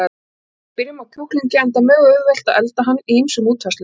Við byrjum á kjúklingi, enda mjög auðvelt að elda hann í ýmsum útfærslum.